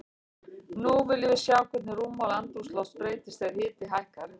Nú viljum við sjá hvernig rúmmál andrúmsloft breytist þegar hiti hækkar.